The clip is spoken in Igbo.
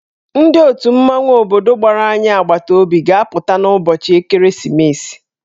Ndị otù mmanwụ obodo gbara anyị agbataobi ga-apụta n'ụbọchị ekeresimesi.